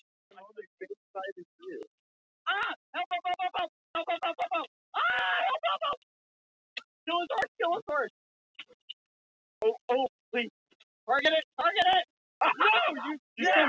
Landsbókasafn er ekki einleikið hvað mann getur syfjað þar.